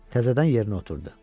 Təzədən yerinə oturdu.